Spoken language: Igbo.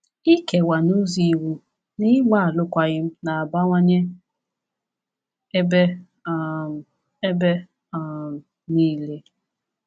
Ịkewa n’ụzọ iwu na ịgba alụkwaghịm na-abawanye ebe um ebe um niile.